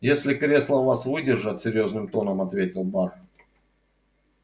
если кресла вас выдержат серьёзным тоном ответил бар